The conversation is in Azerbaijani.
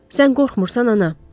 Sən qorxmursan ana.